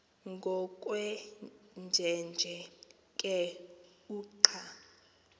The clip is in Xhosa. ngokwenjenje ke uqa